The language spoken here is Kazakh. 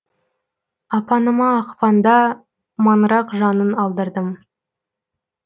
апаныма ақпанда маңырақ жанын алдырдым